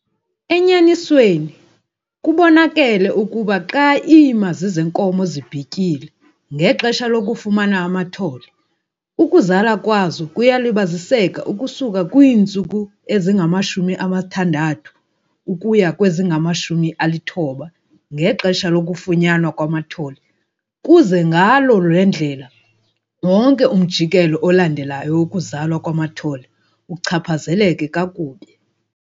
Enyanisweni, kubonakele ukuba xa iimazi zeenkomo zibhityile ngexesha lokufumana amathole, ukuzala kwazo kuyalibaziseka ukusuka kwiintsuku ezingama-60 ukuya kwezingama-90 ngexesha lokufunyanwa kwamathole kuze ngaloo ndlela wonke umjikelo olandelayo wokuzalwa kwamathole uchaphazeleke kakubi.